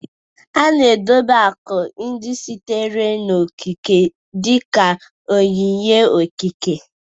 A na-edobe akụ ndị sitere n'okike dị ka onyinye okike